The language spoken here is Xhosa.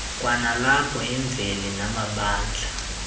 kwanalapho imveli namabandla